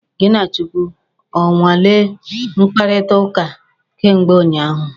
Gị na Chukwu o nweele mkpakọrịtaụka kemgbe ụnyaahụ?